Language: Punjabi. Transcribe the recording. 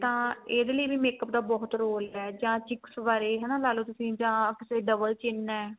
ਤਾਂ ਇਹਦੇ ਲਈ ਵੀ makeup ਦਾ ਬਹੁਤ role ਹੈ ਜਾਂ cheeks ਬਾਰੇ ਹਨਾ ਲਾ ਲੋ ਤੁਸੀਂ ਜਾਂ ਅੱਖ ਕਿਤੇ double chin ਏ